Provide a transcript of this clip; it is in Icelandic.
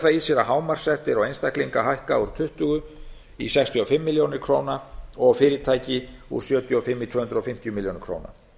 í sér að hámarkssektir á einstaklinga hækka úr tuttugu í sextíu og fimm milljónir króna og á fyrirtæki úr sjötíu og fimm í tvö hundruð fimmtíu milljónir króna